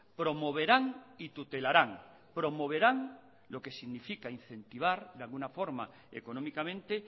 promoverán y tutelarán promoverán lo que significa incentivar de alguna forma económicamente